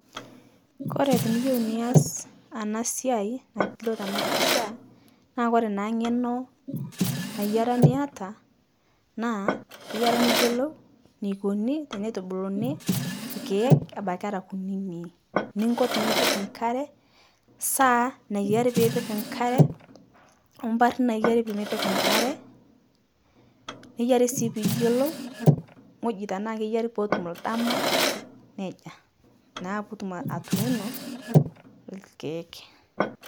Kore tiniyeu nias ana siai nailio tana pisha, naa kore naa ng'eno nayiare niata naa iyare niyolou neikoni tenetubuluni lkeek abaki era kuninii, ninko tinipik nkare, saa nayiare piipik nkare, ompari nayiare piimik nkare. Neiyiari sii piyolou ng'oji tanaa keyiare pootum ldama nejaa, naa piitum atuuno lkeek.